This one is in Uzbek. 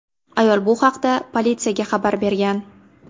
Ayol bu haqda politsiyaga xabar bergan.